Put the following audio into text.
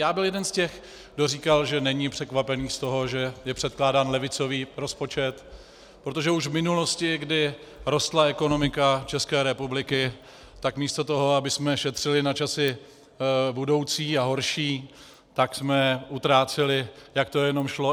Já byl jeden z těch, kdo říkal, že není překvapen z toho, že je předkládán levicový rozpočet, protože už v minulosti, kdy rostla ekonomika České republiky, tak místo toho, abychom šetřili na časy budoucí a horší, tak jsme utráceli, jak to jenom šlo.